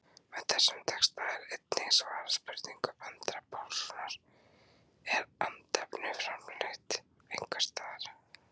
Með þessum texta er einnig svarað spurningu Andra Pálssonar, Er andefni framleitt einhvers staðar?